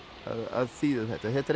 að þýða þetta þetta